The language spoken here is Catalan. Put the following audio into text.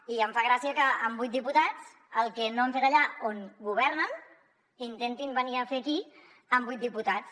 i em fa gràcia que amb vuit diputats el que no han fet allà on governen intentin venir a fer ho aquí amb vuit diputats